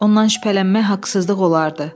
Ondan şübhələnmək haqsızlıq olardı.